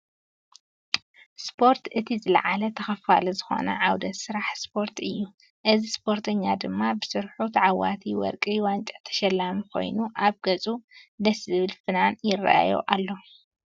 ስፖርት፦ እቲ ዝለዓለ ተከፋሊ ዝኮነ ዓውደ ስራሕ ስፖርት እዩ። እዚ ስፖርተኛ ድማ ብስርሑ ተዓወታይ ወርቂ ዋንጫ ተሸሊሙ ኮይኑ ኣብ ገፀ ደስ ዝብል ፍናን ይርኣዮ ኣሎ።